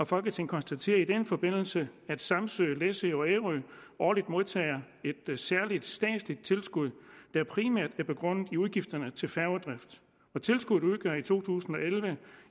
folketinget konstaterer i den forbindelse at samsø læsø og ærø årligt modtager et særligt statsligt tilskud der primært er begrundet i udgifterne til færgedrift tilskuddet udgør i to tusind og elleve